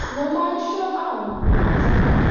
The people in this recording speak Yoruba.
mo máa ń sọ àwọn ohun tí mo